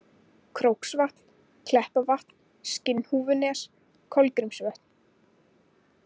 Króksvatn, Kleppavatn, Skinnhúfunes, Kolgrímsvötn